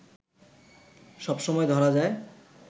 সব সময় ধরা যায়